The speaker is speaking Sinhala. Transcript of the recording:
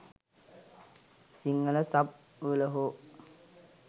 සිංහල සබ් වල හෝ